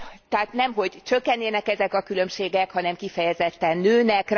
Tehát nemhogy csökkennének ezek a különbségek, hanem kifejezetten nőnek.